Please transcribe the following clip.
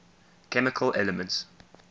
chemical elements